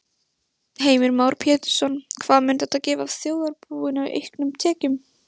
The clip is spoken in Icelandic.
Heimir Már Pétursson: Hvað mun þetta gefa þjóðarbúinu í auknum tekjum?